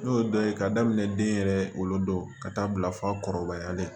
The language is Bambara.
N'o ye dɔ ye ka daminɛ den yɛrɛ wolodon ka taa bila fakɔrɔbaya la dɛ